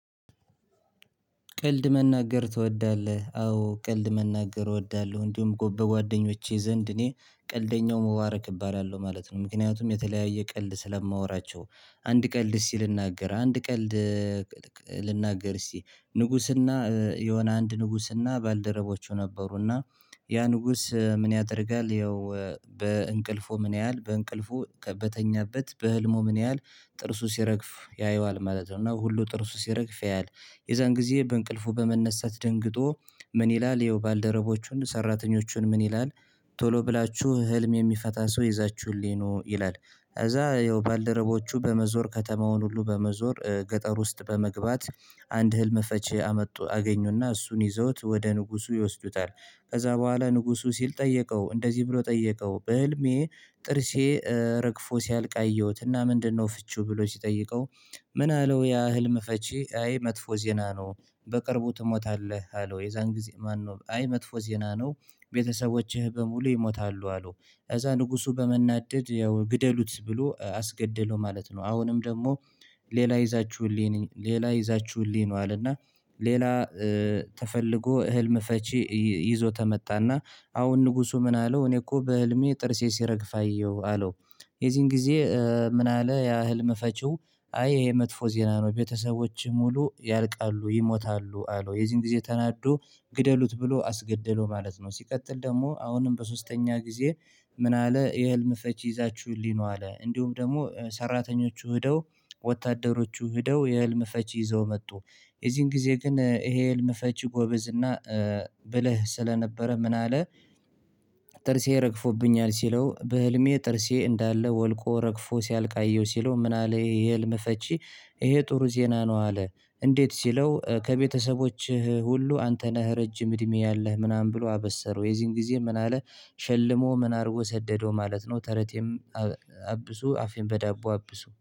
ቀልድ መናገር ትወዳለህ? አዎ ቀልድ መናገር እወዳለሁ እንዲሁም በጓደኞቼ ዘንድ እኔ ቀልደኛው ሞባረክ እባላለሁ ማለት ነው። ምክንያቱም የተለያየ ቀልድ ስለማወራቸው አንድ ቀልድ እስኪ ልናገር አንድ ቀልድ። ልናገር እስቲ ንጉስና የሆነ አንድ ንጉስና ባልደረቦቹ ነበሩና ያ ንጉስ ምን ያደርጋል? ያው በእንቅልፉ ምን ያህል በእንቅልፉ በተኛበት በህልሙ ምን ያህል ጥርሱ ሲረግፍ ያየዋል ማለት ነው። እና ሁሉ ጥርሱ ሲረግፍ ያያል። የዛን ጊዜ በእንቅልፉ በመነሳት ደንግጦ ምን ይላል? ያው ባል ደረቦቹን ሰራተኞቹን ምን ይላል? ቶሎ ብላችሁ ህልም የሚፈታ ሰው ይዛችሁልኝ ኑ ይላል። እዛ ያው ባልደረቦቹ በመዞር ከተማውን ሁሉ በመዞር ገጠር ውስጥ በመግባት አንድ ህልም ፈቺ አመጡ አገኙና እሱን ይዘውት ወደ ንጉሱ ይወስዱታል። ከዛ በኋላ ንጉሱ ሲል ጠየቀው እንደዚህ ብሎ ጠየቀው በህልሜ ጥርሴ ረግፎ ሲያልቅ አየሁት እና ምንድነው ፍቺው? ብሎ ሲጠይቀው ምን አለው? ያ ህልም ፈቺ አይ መጥፎ ዜና ነው። በቅርቡ ትሞታለህ አለው። የዛን ጊዜ መጥፎ ዜና ነው። ቤተሰቦችህ በሙሉ ይሞታሉ አለው። እዛ ንጉሱ በመናደድ ያው ግደሉት ብሎ አስገደለው ማለት ነው። አሁንም ደግሞ ሌላ ይዛችሁልኝ ነው አለና። ሌላ ተፈልጎ ህልም ፈቺ ይዞ ተመጣና አሁን ንጉሱ ምን አለው እኔ እኮ በህልሜ ጥርሴ ሲረግፍ አየሁ አለው። የዚህን ጊዜ ምን አለ ያህል መፈቺው አይ ይሄ መጥፎ ዜና ነው። ቤተሰቦችህ ሙሉ ያልቃሉ ይሞታሉ አለው። የዚህን ጊዜ ተናዶ ግደሉት ብሎ አስገደለው ማለት ነው። ሲቀጥል ደግሞ አሁንም በሶስተኛ ጊዜ ምን አለ የህልም ፈቺ ይዛችሁልኝ ኑ አለ። እንዲሁም ደግሞ ሰራተኞቹ ሄደው ወታደሮቹ ሄደው የህልም ፈቺ ይዘው መጡ። የዚህን ጊዜ ግን ይሄ ህልም ፈቺ ጎበዝና ብለህ ስለነበረ ምን አለ? ጥርሴ ረግፎብኛል ሲለው በህልሜ ጥርሴ እንዳለ ወልቆ ረግፎ ሲያልቅ አየው ሲለው ምን አለ ይሄ ህልም ፈቺ ይሄ ጥሩ ዜና ነው። አለ እንዴት ሲለው ከቤተሰቦችህ ሁሉ አንተ ነህ ረጅም እድሜ አለህ። ምናምን ብሎ አበሰረው። የዚህን ጊዜ ምን አለ? ሸልሞ ምን አድርጎ ሰደደው ማለት ነው። ተረቴን አብሱ አፌን በዳቦ አብሱ